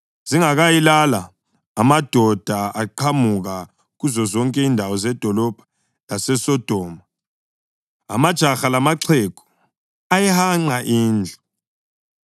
Zingakayilala, amadoda aqhamuka kuzozonke izindawo zedolobho laseSodoma, amajaha lamaxhegu, ayihanqa indlu.